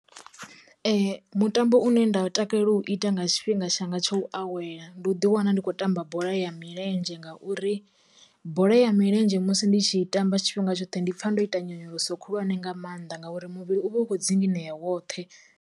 Mutambo une nda u takalela u ita nga tshifhinga shango tsha u awela, ndi u ḓi wana ndi khou tamba bola ya milenzhe ngauri bola ya milenzhe musi ndi tshi tamba tshifhinga tshoṱhe ndi pfa ndo ita nyonyoloso khulwane nga maanḓa ngauri muvhili u vha u kho dzinginyea woṱhe.